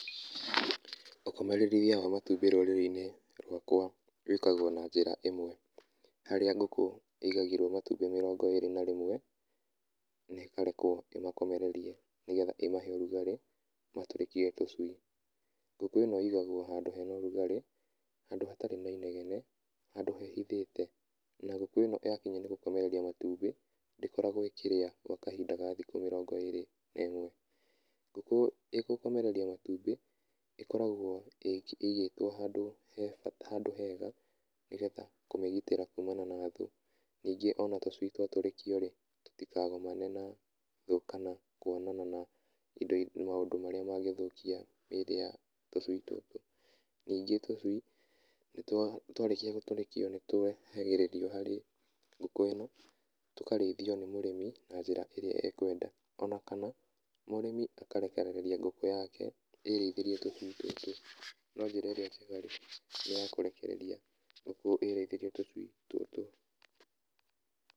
Ũkomereria wa matumbĩ rũrĩrĩ-inĩ rwakwa rwĩkagwo na njĩra ĩmwe, harĩa ngũkũ ĩigagĩrwo matumbĩ mĩrongo ĩrĩ na rĩmwe, ĩkarekwo ĩmakomererie nĩgetha ĩmahe ũrugarĩ matũrĩkie tũcui, ngũkũ ĩno igagwo handũ hena ũrugarĩ, handũ hatarĩ na inegene, handũ hehithĩte, na ngũkũ ĩno yakinya nĩ gũkomereria matumbĩ, ndĩkoragwo ĩkĩrĩa gwa kahinda rĩa thikũ mĩrongo ĩrĩ na ĩmwe, ngũkũ ĩgũkomereria matumbĩ, ĩkoragwo ĩigĩtwo handũ he handũ hega nĩgetha kũmĩgitĩra kumana na thĩ, ningĩ ona tũcui twatũrĩkio rĩ, tũtikagomane na thũ kana kwonana na indo i maũndũ marĩa mangĩthũkia rĩrĩa tũcui tũtũ, ningĩ tũcui twarĩkia gũtũrĩkio nĩtwehagĩrĩrio harĩ ngũkũ ĩno, tũkarĩithio nĩ mũrĩmi na njĩra ĩrĩa akwenda, ona kana mũrĩmi akarekereria ngũkũ yake ĩrĩithĩrie tũcui tũtũ, no njĩra ĩrĩa njega nĩ ya kũrekereria ngũkũ ĩrĩithĩrie tũcui tũtũ.